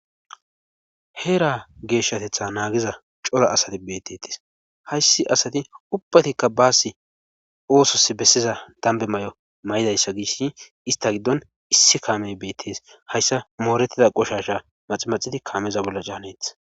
heera geeshshatetha naagiza cora asati bettetes hayssi asati ubbatikka baasi oosos bessiza dambe mayo mayidayssa gish ista giddon issi kaame beettes hayssa moorettida qoshasha maxi maxidi kaameza bolla caaneetes